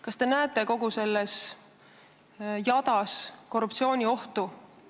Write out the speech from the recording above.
Kas te näete kogu selles jadas korruptsiooniohtu?